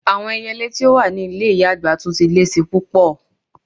Awọn èyèlè ti o wà ni ilẹ̀ iya-agba ti tun le ṣi pupọ̀.